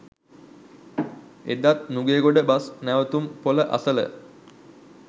එදත් නුගේගොඩ බස් නැවතුම් පොළ අසළ